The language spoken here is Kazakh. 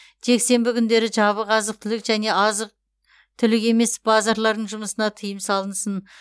жексенбі күндері жабық азық түлік және азық түлік емес базарлардың жұмысына тыйым салынсын